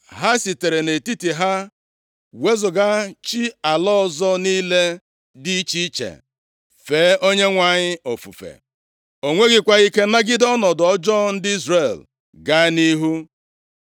Ha sitere nʼetiti ha wezuga chi ala ọzọ niile dị iche iche, fee Onyenwe anyị ofufe. O nweghịkwa ike nagide ọnọdụ ọjọọ ndị Izrel gaa nʼihu.